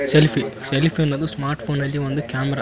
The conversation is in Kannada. ಸೆಲ್ಫೀ ಸೆಲ್ಫೀ ಅನ್ನೋದು ಸ್ಮಾರ್ಟ್ ಫೋನ್ ನಲ್ಲಿ ಒಂದು ಕ್ಯಾಮೆರ .